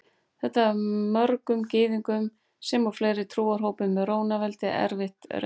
Þetta var mörgum Gyðingum sem og fleiri trúarhópum í Rómaveldi erfið raun.